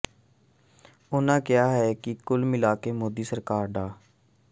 ਉਨ੍ਹਾਂ ਕਿਹਾ ਕਿ ਕੁੱਲ ਮਿਲਾ ਕੇ ਮੋਦੀ ਸਰਕਾਰ ਡਾ